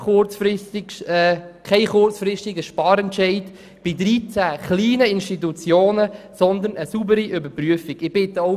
Jetzt sollte kein kurzfristiger Sparentscheid bei 13 kleinen Institutionen getroffen werden, sondern stattdessen eine saubere Überprüfung vorgenommen werden.